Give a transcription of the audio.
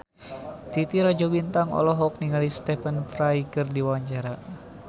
Titi Rajo Bintang olohok ningali Stephen Fry keur diwawancara